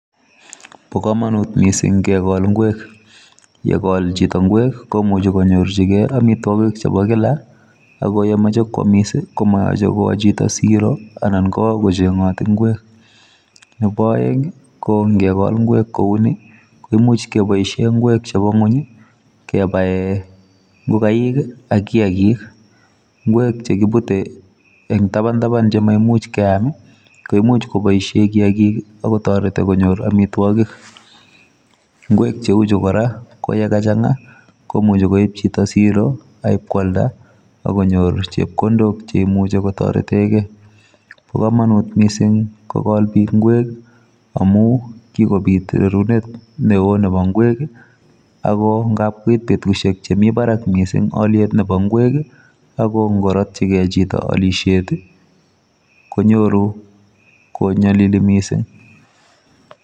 Po komonut mising kekol ng'wek. Yekol chito ng'wek komuchi konyorchigei amitwokik chepo kila ako yemoche kwomis ko moyoche kwo chito siro anan kowo kocheng'oti ng'wek. Nepo oeng nkekol ng'wek kouni ko imuch keboishe ng'wek chepo ng'ony kebae ngokaik ak kiakik. Ng'wek chekipute engtapan tapan chemaimuch keam, ko imuch kopoishe kiakik akotoreti konnyor amitwokik. Ng'wek cheuchu kora ko yekachang'a komuchi koip chito kopa siro kwalda akonyor chepkondok cheimuchi kotoretekei. po komonut mising kokol biik ng'wek amu kikopit rerunet neo nepo ng'wek ako ngap koit petushek chemi barak mising peitap ng'wek ako nkorotchigei chito alishet konyoru konyolili mising.